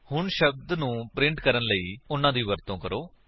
ਹੁਣ ਸ਼ਬਦ ਨੂੰ ਪ੍ਰਿੰਟ ਕਰਨ ਲਈ ਉਨ੍ਹਾਂ ਦੀ ਵਰਤੋ ਕਰੋ